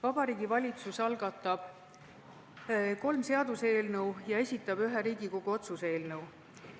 Vabariigi Valitsus algatab kolm seaduseelnõu ja esitab ühe Riigikogu otsuse eelnõu.